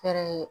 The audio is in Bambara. Fɛɛrɛ ye